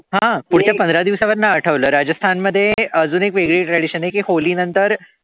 हं पुढच्या पंधरा दिवसां नंतर आठवलं राजस्थान मध्ये एक वगळी tradition आहे की नंतर